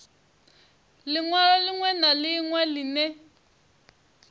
linwalo linwe na linwe line